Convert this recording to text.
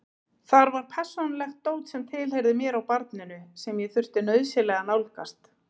Þar var persónulegt dót sem tilheyrði mér og barninu sem ég þurfti nauðsynlega að nálgast.